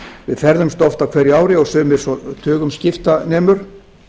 við ferðumst oft á hverju ári og sumir svo tugum skipta nemur